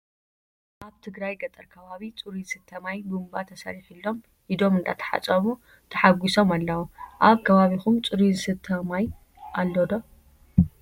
ኣብ ትግራይ ገጠር ከባቢ ፅሩይ ዝስተ ማይ ቡንባ ተሰሪሒሎም ኢዶም እንዳተሓፀቡ ታሓጉሶም ኣለው። ኣብ ከባቢኩም ፅሩይ ዝስተ ማይ ኣሎ ዶ ?